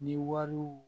Ni wariw